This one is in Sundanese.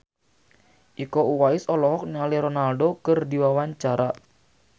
Iko Uwais olohok ningali Ronaldo keur diwawancara